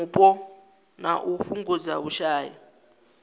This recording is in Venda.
mupo na u fhungudza vhushai